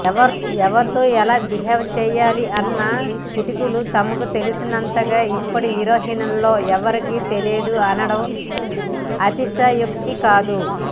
ఎవరితో ఎలా బీహేవ్ చెయ్యాలి అన్న కిటుకులు తనకు తెలిసినంతగా ఇప్పటి హీరోయిన్లలో ఎవరికీ తెలియదు అనడం అతిశయోక్తి కాదు